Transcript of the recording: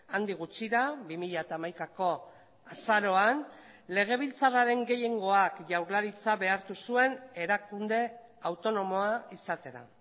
handik gutxira bi mila hamaikako azaroan legebiltzarraren gehiengoak jaurlaritza behartu zuen erakunde autonomoa izatera